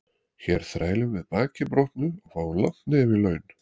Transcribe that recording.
Hér þrælum við baki brotnu og fáum langt nef í laun.